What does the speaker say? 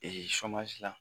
Ee la